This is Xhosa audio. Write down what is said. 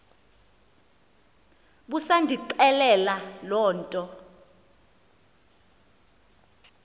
busandixelela loo nto